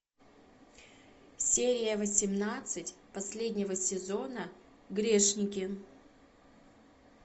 серия восемнадцать последнего сезона грешники